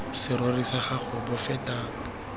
serori sa gago bo feta